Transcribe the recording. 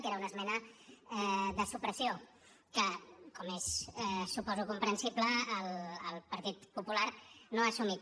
que era una esmena de supressió que com és suposo comprensible el partit popular no ha assumit